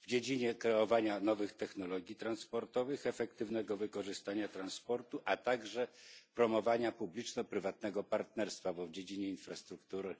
w dziedzinie kreowania nowych technologii transportowych, efektywnego wykorzystania transportu, a także promowania publiczno prywatnego partnerstwa w dziedzinie infrastruktury.